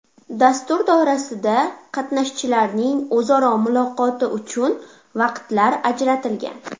Dastur doirasida qatnashchilarning o‘zaro muloqoti uchun vaqtlar ajratilgan.